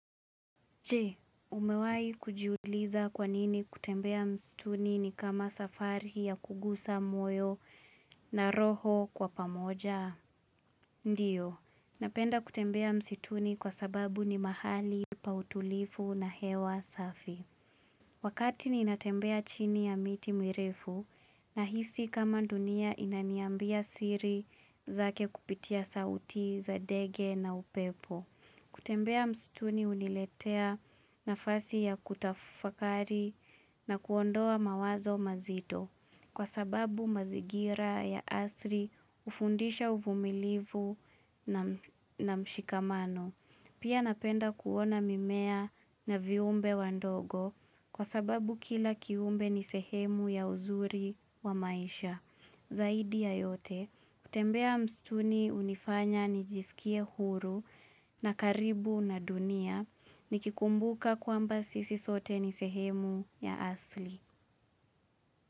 Je, umewahi kujiuliza kwa nini kutembea msituni ni kama safari ya kugusa moyo na roho kwa pamoja? Ndiyo, napenda kutembea msituni kwa sababu ni mahali pa utulivu na hewa safi. Wakati ninatembea chini ya miti mirefu nahisi kama dunia inaniambia siri zake kupitia sauti za ndege na upepo. Kutembea msituni huniletea nafasi ya kutafakari na kuondoa mawazo mazito kwa sababu mazingira ya asili hufundisha uvumilivu na mshikamano. Pia napenda kuona mimea na viumbe wadogo kwa sababu kila kiumbe ni sehemu ya uzuri wa maisha. Zaidi ya yote, kutembea msituni hunifanya nijisikie huru na karibu na dunia nikikumbuka kwamba sisi sote ni sehemu ya asili.